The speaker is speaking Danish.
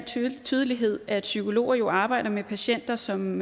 tydelighed at psykologer jo arbejder med patienter som